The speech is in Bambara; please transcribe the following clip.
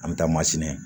An bɛ taa mansinɛ